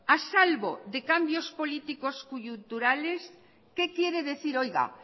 a salvo de cambios políticos coyunturales qué quiere decir